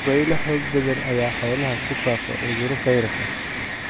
Dabaylo xoog badan ayaa xoolaha ku faafa cudurro fayras ah.